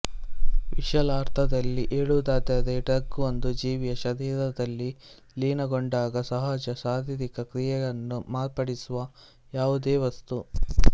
ವಿಶಾಲಾರ್ಥದಲ್ಲಿ ಹೇಳುವುದಾದರೆ ಡ್ರಗ್ ಒಂದು ಜೀವಿಯ ಶರೀರದಲ್ಲಿ ಲೀನಗೊಂಡಾಗ ಸಹಜ ಶಾರೀರಿಕ ಕ್ರಿಯೆಯನ್ನು ಮಾರ್ಪಡಿಸುವ ಯಾವುದೇ ವಸ್ತು